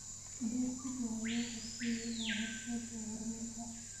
Beer si fiican loo qorsheeyey ayaa horseed u ah horumarka.